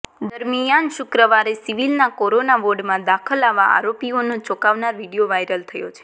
દરમિયાન શુક્રવારે સિવિલના કોરોના વોર્ડમાં દાખલ આવા આરોપીઓનો ચોંકાવનારો વીડિયો વાઈરલ થયો છે